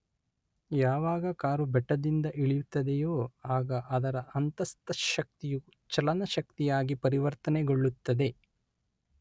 ಯಾವಾಗ ಕಾರು ಬೆಟ್ಟದಿಂದ ಇಳಿಯುತ್ತದೆಯೋ ಆಗ ಅದರ ಅಂತಸ್ಥ ಶಕ್ತಿಯು ಚಲನ ಶಕ್ತಿಯಾಗಿ ಪರಿವರ್ತನೆಗೊಳ್ಳುತ್ತದೆ.